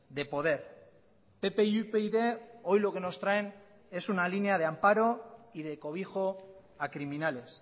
de poder pp y upyd hoy lo que nos traen es una línea de amparo y de cobijo a criminales